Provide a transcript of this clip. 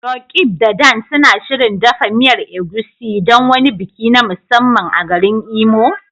Roqeeb da Dan suna shirin dafa miyar Egusi don wani biki na musamman a garin Imo?